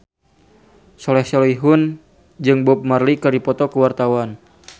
Soleh Solihun jeung Bob Marley keur dipoto ku wartawan